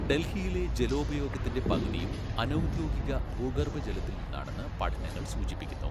ഡൽഹിയിലെ ജലോപയോഗത്തിൻ്റെ പകുതിയും അനൗദ്യോഗിക ഭൂഗർഭജലത്തിൽ നിന്നാണെന്ന് പഠനങ്ങൾ സൂചിപ്പിക്കുന്നു.